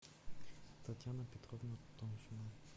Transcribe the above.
татьяна петровна томшина